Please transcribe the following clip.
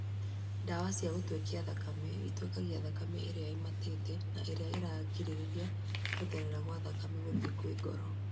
Ndawa cia gũtwekia thakame itwekagia thakame ĩrĩa ĩmatĩte na ĩrĩa ĩrigagĩrĩria gũtherera gwa thakame gũthiĩ kwĩ ngoro